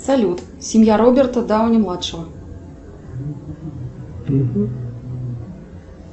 салют семья роберта дауни младшего